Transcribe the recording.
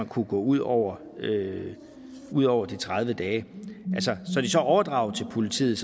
kunne gå ud over ud over de tredive dage når de så er overdraget til politiet